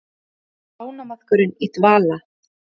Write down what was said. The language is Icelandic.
Þar leggst ánamaðkurinn í dvala.